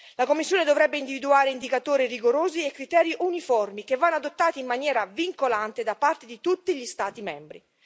La Commissione dovrebbe individuare indicatori rigorosi e criteri uniformi che vanno adottati in maniera vincolante da parte di tutti gli Stati membri.